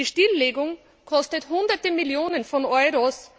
Die Stilllegung kostet Hunderte Millionen Euro.